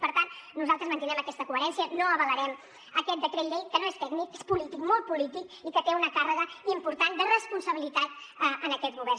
i per tant nosaltres mantindrem aquesta coherència no avalarem aquest decret llei que no és tècnic és polític molt polític i que té una càrrega important de responsabilitat en aquest govern